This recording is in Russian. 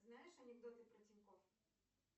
знаешь анекдоты про тинькофф